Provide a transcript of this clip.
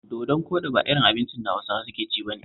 Dodon koɗi ba irin kalar abincin da Hausawa suke ci ba ne